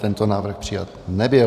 Tento návrh přijat nebyl.